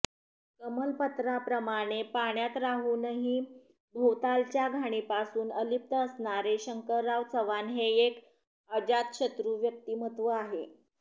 कमलपत्राप्रमाणे पाण्यात राहूनही भोवतालच्या घाणीपासून अलिप्त असणारे शंकरराव चव्हाण हे एक अजातशत्रू व्यक्तिमत्त्व आहे